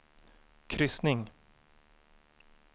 kryssning